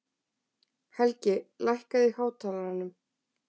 Helgi, lækkaðu í hátalaranum.